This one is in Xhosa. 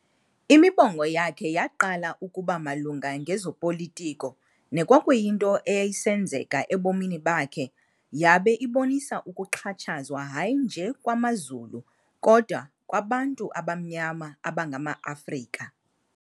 Imibongo yakhe yaqala ukuba malunga ngezopolitiko nekwakuyinto eyayisenzeka ebomini bakhe, yabe ibonisa ukuxhatshazwa hayi nje kwamaZulu kodwa kwabantu abamnyama abangama-Afrika.